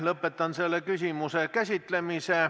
Lõpetan selle küsimuse käsitlemise.